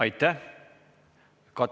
Aitäh!